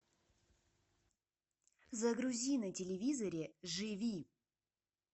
загрузи на телевизоре живи